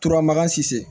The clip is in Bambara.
Turamakan cisse